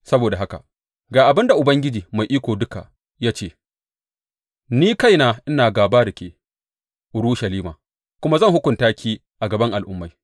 Saboda haka ga abin da Ubangiji Mai Iko Duka ya ce Ni kaina ina gāba da ke, Urushalima, kuma zan hukunta ki a gaban al’ummai.